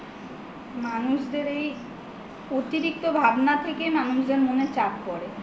মানুষদের এই অতিরিক্ত ভাবনা থেকেই মানুষদের মনে চাপ পরে